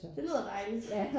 Det lyder dejligt